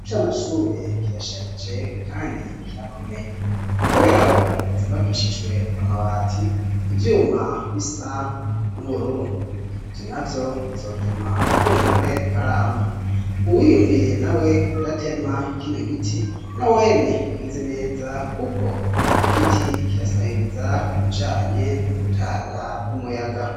icamashure kirasharije kandi kirakomeye kuberako cubakishijwe amabati ivyuma bisa n'ubururu vyo navyo bizotuma kumbure aramba uwiyumviriye nawe kudatema kino giti na wene yagize neza kuko igiti kirasahiriza ku bijanye n'o gutanga umuyaga